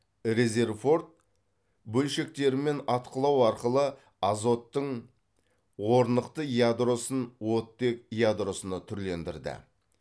резерфорд бөлшектермен атқылау арқылы азоттың орнықты ядросын оттек ядросына түрлендірді